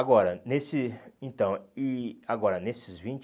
Agora, nesse, então, e agora, nesses vinte